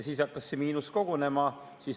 Siis hakkas see miinus kogunema.